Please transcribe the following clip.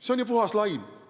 See on ju puhas laim.